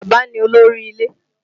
Bàbá ni olórí ilé